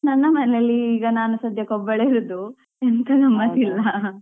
ನನ್ನ ಮನೆಯಲ್ಲಿ ಈಗ ನಾನು ಸಧ್ಯಕ್ಕೆ ಒಬ್ಬಳೇ ಇರುದು ಎಂತಿಲ್ಲಾ ಮಾಡ್ಲಿಲ್ಲಾ.